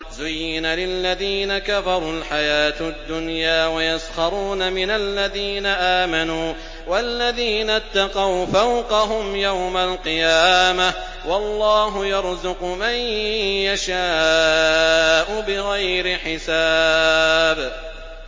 زُيِّنَ لِلَّذِينَ كَفَرُوا الْحَيَاةُ الدُّنْيَا وَيَسْخَرُونَ مِنَ الَّذِينَ آمَنُوا ۘ وَالَّذِينَ اتَّقَوْا فَوْقَهُمْ يَوْمَ الْقِيَامَةِ ۗ وَاللَّهُ يَرْزُقُ مَن يَشَاءُ بِغَيْرِ حِسَابٍ